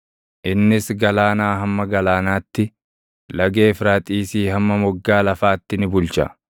Innis galaanaa hamma galaanaatti, Laga Efraaxiisii hamma moggaa lafaatti ni bulcha.